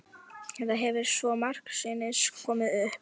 Þetta hefur svo margsinnis komið upp.